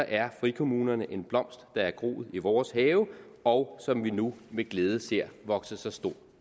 er frikommunerne en blomst der er groet i vores have og som vi nu med glæde ser vokse sig stor